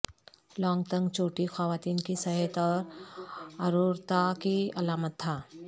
long تنگ چوٹی خواتین کی صحت اور ارورتا کی علامت تھا